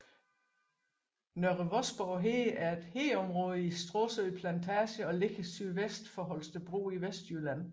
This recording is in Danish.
Nørre Vosborg Hede er et hedeområde i Stråsø Plantage og ligger sydvest for Holstebro i Vestjylland